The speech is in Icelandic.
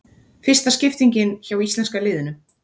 Fyrsta skiptingin hjá íslenska liðinu